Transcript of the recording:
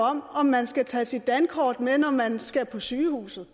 om om man skal tage sit dankort med når man skal på sygehuset